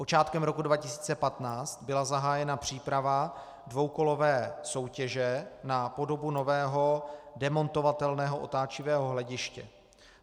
Počátkem roku 2015 byla zahájena příprava dvoukolové soutěže na podobu nového demontovatelného otáčivého hlediště.